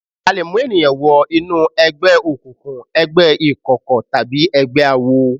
A lè mú èèyàn wo inú ẹgbẹ́ òkùnkùn, ẹgbẹ́ ìkọ̀kọ̀ tàbí ẹgbẹ́ àwo.